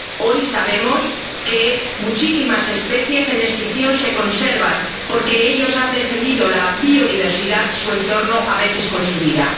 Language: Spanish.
Hoy sabemos que muchísimas especies en extinción se conservan porque ellos han defendido la biodiversidad, su entorno, a veces con su vida.